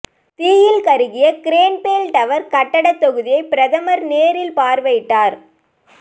தீயில் கருகிய Grenfell tower கட்டடத் தொகுதியை பிரதமர் நேரில் பார்வையிட்டார்